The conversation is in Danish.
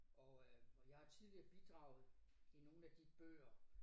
Og øh og jeg har tidligere bidraget i nogle af de bøger